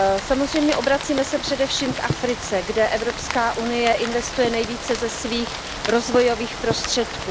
Samozřejmě se obracíme především k Africe, kde Evropská unie investuje nejvíce ze svých rozvojových prostředků.